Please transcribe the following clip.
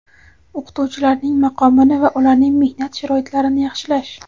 O‘qituvchilarning maqomini va ularning mehnat sharoitlarini yaxshilash;.